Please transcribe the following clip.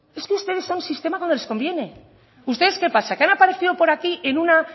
es que ustedes son sistema cuando les conviene ustedes qué pasa qué han aparecido por aquí en una